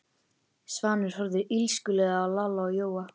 Svanur horfði illskulega á Lalla og Jóa.